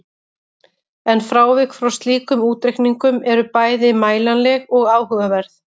En frávik frá slíkum útreikningum eru bæði mælanleg og áhugaverð.